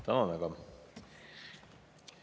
Tänan väga!